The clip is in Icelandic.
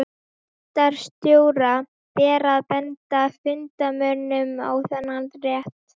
Fundarstjóra ber að benda fundarmönnum á þennan rétt.